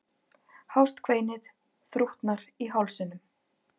Hást kveinið þrútnar í hálsinum.